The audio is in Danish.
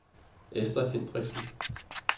Ester Hendriksen